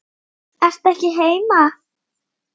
Ertu ekki heima?